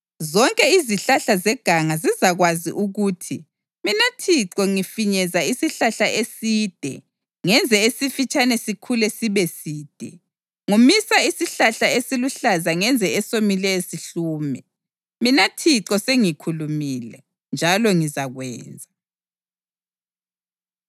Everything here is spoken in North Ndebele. Zonke izihlahla zeganga zizakwazi ukuthi mina Thixo ngifinyeza isihlahla eside ngenze esifitshane sikhule sibeside. Ngomisa isihlahla esiluhlaza ngenze esomileyo sihlume. Mina Thixo sengikhulumile, njalo ngizakwenza.’ ”